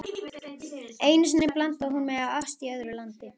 Einu sinni blindaði hún mig af ást í öðru landi.